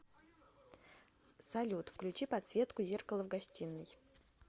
салют включи подсветку зеркала в гостиной